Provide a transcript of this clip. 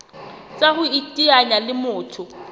tsa ho iteanya le motho